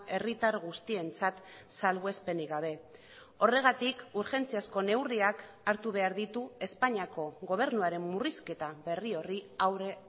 herritar guztientzat salbuespenik gabe horregatik urgentziazko neurriak hartu behar ditu espainiako gobernuaren murrizketa berri horri aurre